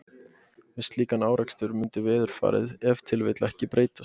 Við slíkan árekstur mundi veðurfarið ef til vill ekki breytast.